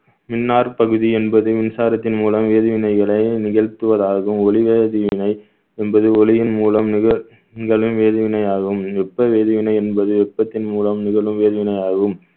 இன்னார் பகுதி என்பது மின்சாரத்தின் மூலம் வேதிவினைகளை நிகழ்த்துவதாகவும் ஒளிவதில்லை என்பது ஒளியின் மூலம் நிகழ்~ நிகழும் வேதிவினையாகும் வெப்ப வேதிவினை என்பது வெப்பத்தின் மூலம் நிகழும் வேதிவினையாகும்